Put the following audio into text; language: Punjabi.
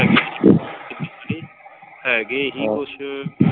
ਹੈਗੇ ਸੀ ਕੁੱਛ।